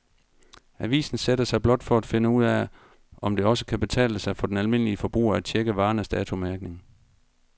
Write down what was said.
Avisen sætter sig blot for at finde ud af, om det også kan betale sig for den almindelige forbruger at checke varernes datomærkning.